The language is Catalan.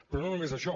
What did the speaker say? però no només això